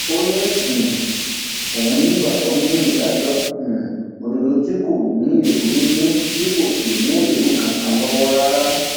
ó ní um òun nígbàgbọ nínú ìdájọ um òdodo tí kò ní èrú nínú tí kò sì mú ẹrù kankan lọwọ rárá